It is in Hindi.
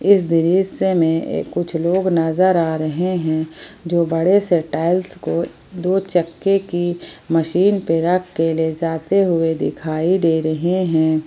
इस दृश्य में कुछ लोग नजर आ रहे है जो बड़े से टाइल्स को दो चक्के की मशीन पे रख ले जाते हुए दिखाई दे रहे हैं।